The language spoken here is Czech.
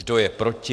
Kdo je proti?